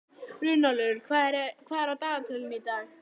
Runólfur, hvað er á dagatalinu í dag?